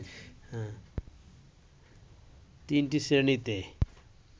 তিনটি শ্রেণিতে